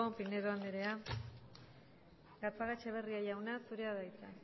pinedo anderea gatzagaetxeberria jauna zurea da hitza